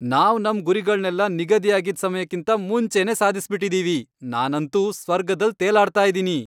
ನಾವ್ ನಮ್ ಗುರಿಗಳ್ನೆಲ್ಲ ನಿಗದಿ ಆಗಿದ್ ಸಮಯಕ್ಕಿಂತ ಮುಂಚೆನೇ ಸಾಧ್ಸ್ಬಿಟಿದಿವಿ, ನಾನಂತೂ ಸ್ವರ್ಗ್ದಲ್ ತೇಲಾಡ್ತಾ ಇದೀನಿ.